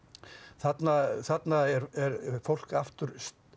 þarna þarna er fólk aftur